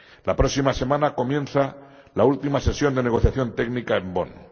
La próxima semana comienza la última sesión de negociación técnica en Bonn.